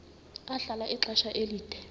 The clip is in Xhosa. ahlala ixesha elide